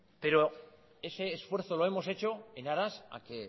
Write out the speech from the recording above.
pero ese esfuerzo lo hemos hecho en aras a que